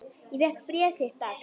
Ég fékk bréf þitt dags.